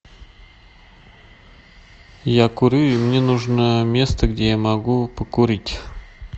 я курю и мне нужно место где я могу покурить